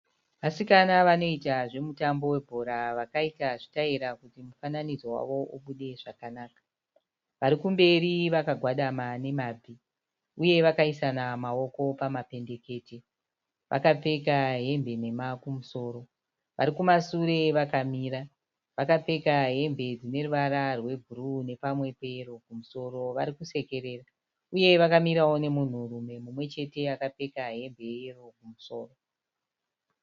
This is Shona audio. Vasikana vanoita zvemutambo we bhora vakaita zvitaira kuti mufananidzo wavo ubudirire zvakanaka. Varikumberi vakagwadama nemabvi uye vakaisa na mawoko pamapendekete. Vakapfeka hembe nhema kumusoro. Varikumasure vakamira vakapfeka hembe dzine ruvara rwe bhuruu nepamwe peyero kumusoro varikusekerera. Uye vakamirawo nemunhu rume mumwechete akapfekawo hembe ye yero kumusoro .